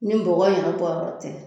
Ni bɔgɔ in yɛrɛ bɔyɔrɔ tɛ